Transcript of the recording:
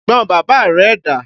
Ẹ̀gbọn bàbá rẹ dà?